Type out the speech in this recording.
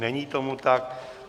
Není tomu tak.